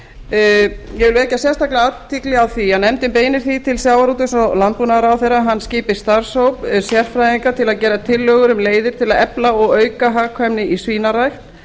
ég vil vekja sérstaka athygli á því að nefndin beinir því til sjávarútvegs og landbúnaðarráðherra að hann skipi starfshóp sérfræðinga til að gera tillögur um leiðir til að efla og auka hagkvæmni í svínarækt